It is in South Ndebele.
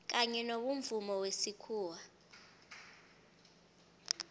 kanye nobomvumo wesikhuwa